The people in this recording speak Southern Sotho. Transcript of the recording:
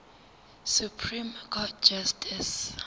supreme court justice